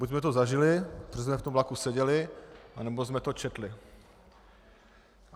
Buď jsme to zažili, protože jsme v tom vlaku seděli, nebo jsme to četli.